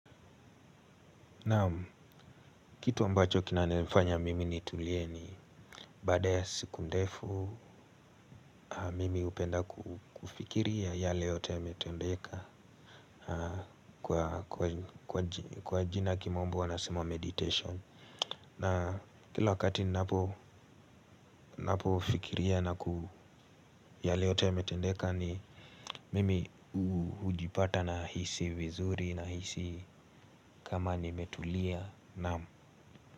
Naam, kitu ambacho kinanifanya mimi nitulie ni baada ya siku ndefu mimi hupenda kufikiria yale yote yametendeka kwa jina ya kimombo wanasema meditation. Na, kila wakati ninapo fikiria yale yote yametendeka ni mimi hujipata nahisi vizuri, nahisi kama nimetulia.